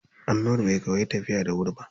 Annur bai koyi tafiya da wuri ba.